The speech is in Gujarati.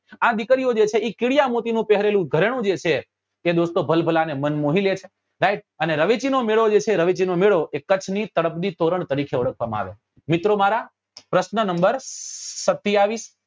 આ દીકરીઓ જે છે એ કીડિયા મોતી નું પહેરેલું ગરેનું જે છે એ દોસ્તો ભલભલા નું મન મોહી લે છે right અને રવેચી નો મેળો જે છે એ રવેચી નો મેળો એ કચ્છ ની તળપદી તોરણ તરીકે ઓળખવા માં આવે છે મિત્રો મારા પ્રશ્ન નંબર સતીયાવીસ